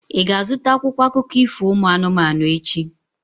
Ị ga-azụta akwụkwọ akụkọ ifo ụmụ anụmanụ echi?